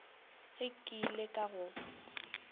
ge ke ile ka go